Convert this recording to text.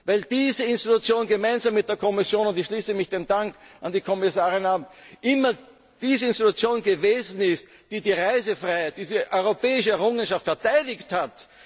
hat. Weil diese Institution gemeinsam mit der Kommission und ich schließe mich dem Dank an die Kommissarin an immer die Institution gewesen ist, die die Reisefreiheit, diese europäische Errungenschaft, verteidigt